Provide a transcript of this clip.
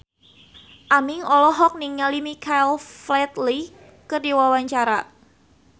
Aming olohok ningali Michael Flatley keur diwawancara